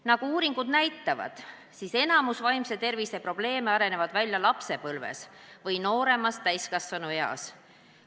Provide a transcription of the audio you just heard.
Nagu uuringud näitavad, areneb enamik vaimse tervise probleeme välja lapsepõlves või varases täiskasvanueas.